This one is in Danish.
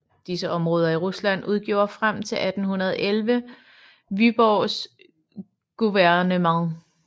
Disse områder i Rusland udgjorde frem til 1811 Vyborgs guvernement